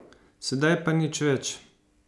Sedaj pa nič več.